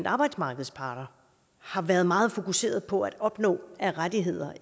arbejdsmarkedets parter har været meget fokuseret på at opnå af rettigheder